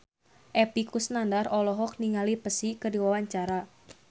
Epy Kusnandar olohok ningali Psy keur diwawancara